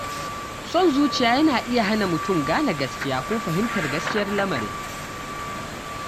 Son zuciya yana iya hana mutum gane gaskiya ko fahimtar gaskiyar lamarin.